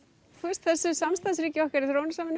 þessu samstarfsríki okkar í þróunarsamvinnu